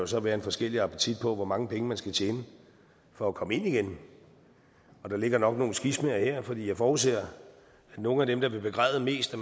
så være en forskellig appetit på hvor mange penge man skal tjene for at komme ind igen og der ligger nok nogle skismaer her for jeg forudser at nogle af dem der vil begræde mest at